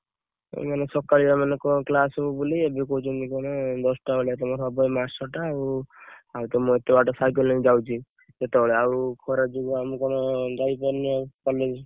ମାନେ class ହବ ବୋଲି ଏବେ କହୁଛନ୍ତି କଣ ଦଶଟା ବେଳେ ହବ ତମର ଏଇ ମାସଟା ଆଉ ମୁଁ ସାଇକେଲ ନେଇ ଯାଉଛି ଯେତେ ବେଳେ ଆଉ ଖରା ଯୋଗୁ ଯାଇ ପାରୁନି college।